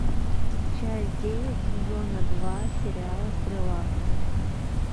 часть девять сезона два сериала стрела